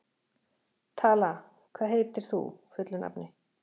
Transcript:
Tala, hvað heitir þú fullu nafni?